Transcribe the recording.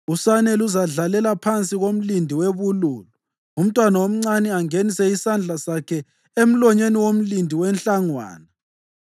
Usane luzadlalela phansi komlindi webululu, umntwana omncane angenise isandla sakhe emlonyeni womlindi wenhlangwana.